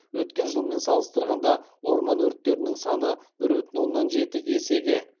өткен жылмен салыстырғанда орман өрттерінің саны бір бүтін оннан жеті есеге